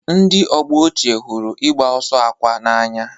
Ndị ọgbọ ochie hụrụ ịgba ọsọ akwa n'anya.